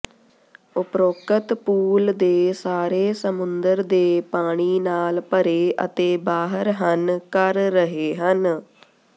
ਉਪਰੋਕਤ ਪੂਲ ਦੇ ਸਾਰੇ ਸਮੁੰਦਰ ਦੇ ਪਾਣੀ ਨਾਲ ਭਰੇ ਅਤੇ ਬਾਹਰ ਹਨ ਕਰ ਰਹੇ ਹਨ